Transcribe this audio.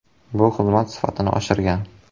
Bu xizmat sifatini oshirgan.